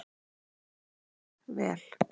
Gott vel.